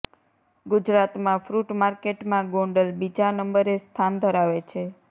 ગુજરાતમાં ફ્રુટ માર્કેટમાં ગોંડલ બીજા નંબરે સ્થાન ધરાવે છે